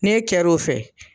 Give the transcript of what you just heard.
Ni e kɛro o fɛ.